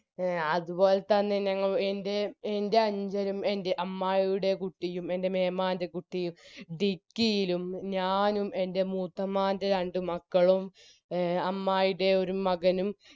A അത്പോലെതന്നെ ഞങ്ങൾ എൻറെ എൻറെ അനുജനും എൻറെ അമ്മായിയുടെ കുട്ടിയും എൻറെ മേമാന്റെ കുട്ടിയും dicky യിലും ഞാനും എൻറെ മൂത്തമ്മാൻറെ രണ്ട് മക്കളും എ അമ്മായിയുടെ ഒരു മകനും